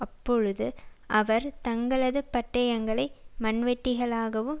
அப்பொழுது அவர்கள் தங்களது பட்டயங்களை மண்வெட்டிகளாகவும்